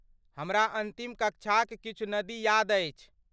हमरा अन्तिम कक्षाक किछु नदी याद अछि।